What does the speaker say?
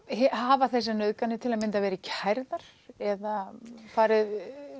hafa þessar nauðganir til að mynda verið kærðar eða farið